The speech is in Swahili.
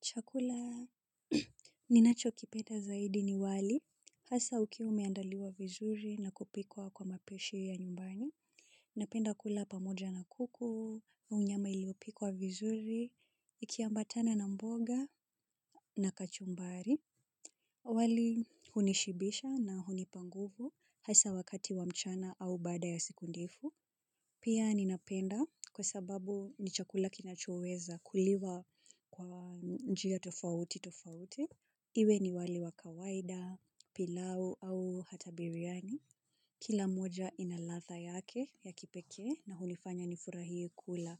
Chakula ninachokipenda zaidi ni wali. Hasa ukiwa umeandaliwa vizuri na kupikwa kwa mapishi ya nyumbani. Napenda kula pamoja na kuku, au nyama iliyopikwa vizuri, ikiambatana na mboga na kachumbari. Wali hunishibisha na hunipa nguvu hasa wakati wa mchana au baada ya siku ndefu. Pia ninapenda kwa sababu ni chakula kinachoweza kuliwa kwa njia tofauti tofauti. Iwe ni wali wa kawaida, pilau au hata biriani. Kila moja ina ladha yake ya kipekee na hunifanya nifurahie kula.